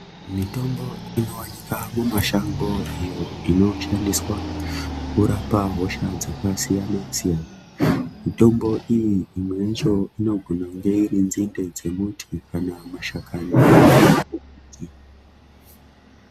Mitombo inowanikwa kumashango iyo inoshandiswa kurapa hosha dzakasiyana-siyana . Mitombo iyi imwe yacho inogona kunge iri nzinde dzemuti kana mashakani ....